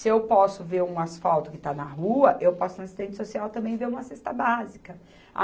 Se eu posso ver um asfalto que está na rua, eu posso, ir na assistente social, também ver uma cesta básica.